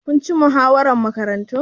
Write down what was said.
Kun ci muhawarar Makarantun?